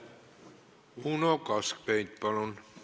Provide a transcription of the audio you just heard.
Uno Kaskpeit, palun!